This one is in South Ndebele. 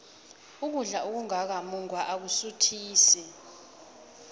ukudla okungaka mungwa akusuthisi